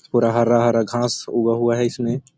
पूरा हरा-हरा उगा हुआ हैं इसमे--